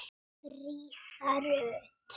Fríða Rut.